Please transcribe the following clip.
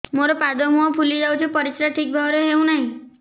ମୋର ପାଦ ମୁହଁ ଫୁଲି ଯାଉଛି ପରିସ୍ରା ଠିକ୍ ଭାବରେ ହେଉନାହିଁ